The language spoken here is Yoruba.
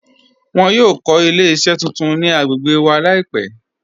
Wọn yọ kọ ilẹ̀-iṣẹ tuntun ni agbègbè wa laipẹ̀